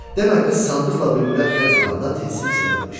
Demə qız sandıqla bülbülə əl vuranda tilsim sırılıbmış.